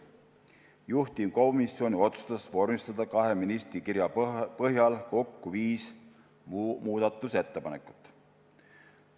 Juhtivkomisjon otsustas vormistada kahe ministri kirja põhjal kokku viis muudatusettepanekut.